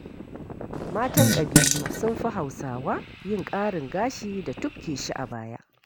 Matan ƙabilu sun fi Hausawa yin ƙarin gashi da tubke shi a baya.